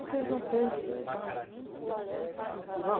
Porque eles não têm base cultural.